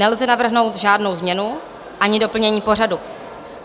Nelze navrhnout žádnou změnu ani doplnění pořadu.